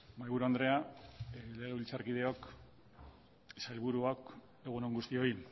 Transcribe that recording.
mahaiburu andrea legebiltzarkideok sailburuak egunon guztioi